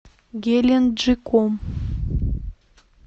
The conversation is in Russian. геленджиком